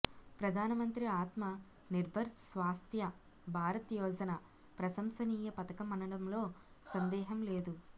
ప్రధానమంత్రి ఆత్మ నిర్భర్ స్వాస్థ్య భారత్ యోజన ప్రశంసనీయ పథకమనడంలో సందేహం లేదు